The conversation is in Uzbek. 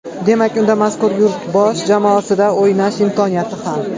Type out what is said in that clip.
Demak, unda mazkur yurt bosh jamoasida o‘ynash imkoniyati ham.